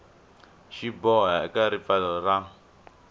xi boha eka ripfalo ra